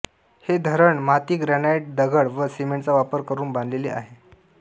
हे धरण माती ग्रानाईटदगड व सिमेंटचा वापर करुन बांधलेले आहे